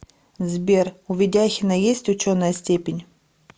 сбер у ведяхина есть ученая степень